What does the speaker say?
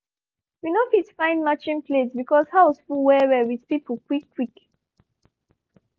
we no fit find matching plate because house full well well with people quick quick